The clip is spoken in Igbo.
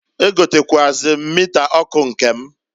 E gotekwuazịrị m nta ọkụ nke m.